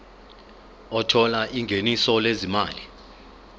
othola ingeniso lezimali